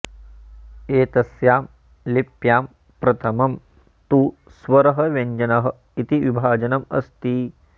एतस्यां लिप्यां प्रथमं तु स्वरः व्यञ्जनः इति विभाजनम् अस्ति